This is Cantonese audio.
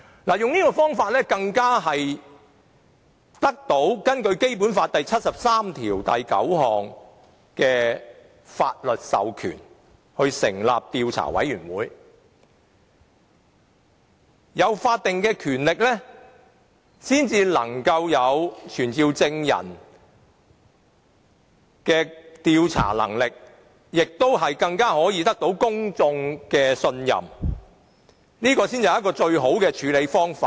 這做法更是獲得《基本法》第七十三條第九項的法律授權成立調查委員會，因為要有法定權力才有傳召證人的調查能力，並獲公眾信任，這才是最好的處理方法。